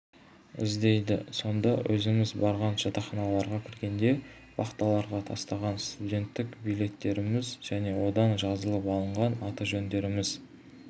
іздейді сонда өзіміз барған жатақханаларға кіргенде вахталарға тастаған студенттік билеттеріміз және одан жазылып алынған аты-жөндеріміз